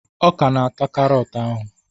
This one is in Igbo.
Ọ ka na-ata karọt ahụ.